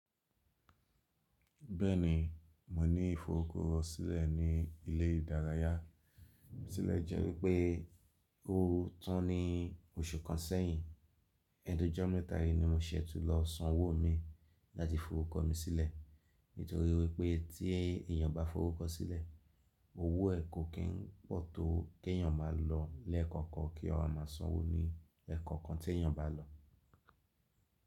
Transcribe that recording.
Bẹ́ẹ̀ni, mo ní ìforúkọsílẹ̀ ní ilé ìdárayá. Tílẹ̀ jẹ́ wípé, ó tán ní oṣù kan sẹ́yìn. Ẹ̀nu jọ mẹ́ta yí ni mo ṣe tún lọ sán owó mi láti forúkọ mi sílẹ̀. Nítorí wípé tí èèyàn bá fórúkọ sílẹ̀, owó ẹ̀ kò kí ń pọ̀ tó kí èèyàn máa lọ lẹ́ẹ̀kọ̀kan kí a máa san owó ní ẹ̀ẹ̀kọ̀kan tí èèyàn bá lọ.